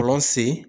Kɔlɔn sen